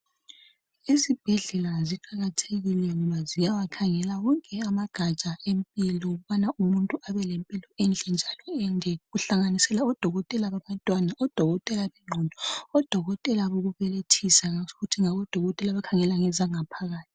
Izibhedlela ziqakathekile ngoba ziyawakhangela wonke amagatsha empilo ukubana umuntu abelempilo ende kuhlanganisela odokotela babantwana, abengondo, abokubelethisa labakhangela ngezitho zangaphakathi.